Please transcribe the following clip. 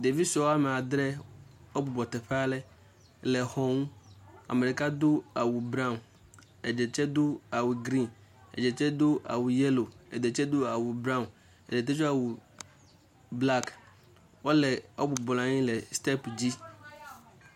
Ɖevi sue woame adre wobubrɔ teƒe ale le xɔ ŋu. Ame ɖeka do awu brown, eɖe tse do awu green, eɖe tse do awu yellow, eɖe tse do awu brown, eɖe tse do awu black. Wole wobubrɔanyi ɖe step dzi.